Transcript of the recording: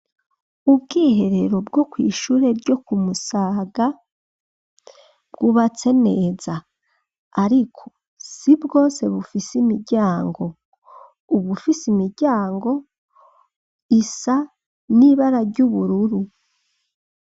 Ubwiherero, bwo kw'ishure ryo ku Musaga, bwubatse neza; ariko, si bwose bufise imiryango; ubufise imiryango, isa n'ibara ry'ubururu.